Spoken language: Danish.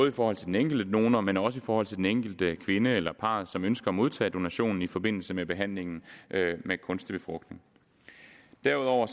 i forhold til den enkelte donor men også i forhold til den enkelte kvinde eller parret som ønsker at modtage donationen i forbindelse med behandlingen med kunstig befrugtning derudover